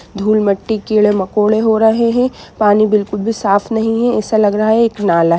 धूल-मट्टी कीड़े-मकोड़े हो रहे हैं पानी बिल्कुल भी साफ नहीं है ऐसा लग रहा है एक नाला है।